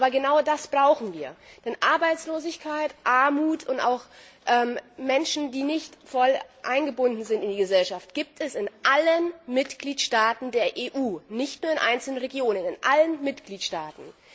Aber genau das brauchen wir, denn Arbeitslosigkeit, Armut und auch Menschen, die nicht voll eingebunden sind in die Gesellschaft, gibt es in allen Mitgliedstaaten der EU, nicht nur in einzelnen Regionen in allen Mitgliedstaaten!